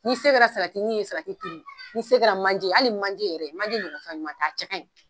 N'i se kɛra ye turu n'i se kɛra manje ye hali manje yɛrɛ manje ɲɔgɔn fɛnɲuman tɛ a cɛ ka ɲi.